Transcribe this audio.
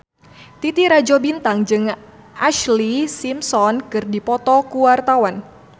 Titi Rajo Bintang jeung Ashlee Simpson keur dipoto ku wartawan